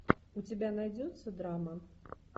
у тебя найдется драма